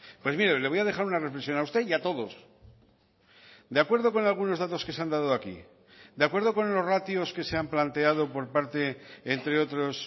pues mire le voy a dejar una reflexión a usted y a todos de acuerdo con algunos datos que se han dado aquí de acuerdo con los ratios que se han planteado por parte entre otros